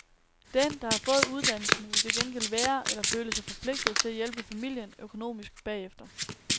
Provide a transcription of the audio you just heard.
Den, der har fået uddannelsen, vil til gengæld være eller føle sig forpligtet til at hjælpe familien økonomisk bagefter.